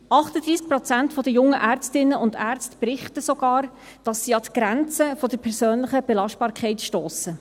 38 Prozent der jungen Ärztinnen und Ärzte berichten sogar, dass sie an die Grenze der persönlichen Belastbarkeit stossen.